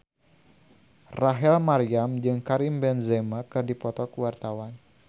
Rachel Maryam jeung Karim Benzema keur dipoto ku wartawan